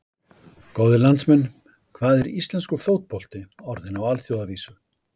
Góðir landsmenn, hvað er íslenskur fótbolti orðinn á alþjóðavísu?